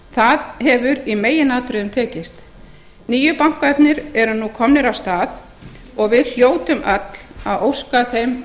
það hefur í meginatriðum tekist nýju bankarnir eru nú komnir af stað og við hljótum öll að óska þeim